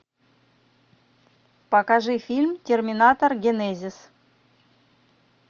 покажи фильм терминатор генезис